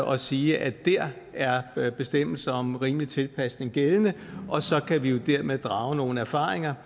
og sige at der er bestemmelse om rimelig tilpasning gældende og så kan vi dermed drage nogle erfaringer